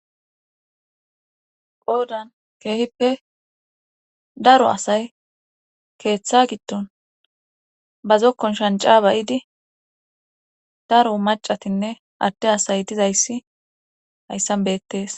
qoodan keehippe daro asay keeththa giddon ba zokkon shanca bayidi daro macatinne adde asay dizayssi hayssan beettees